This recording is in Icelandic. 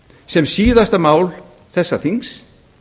sem síðasta mál þessa þings